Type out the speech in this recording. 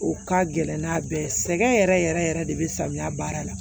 U ka gɛlɛn n'a bɛɛ ye sɛgɛn yɛrɛ yɛrɛ yɛrɛ yɛrɛ de bɛ samiya baara la